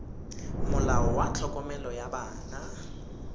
molao wa tlhokomelo ya bana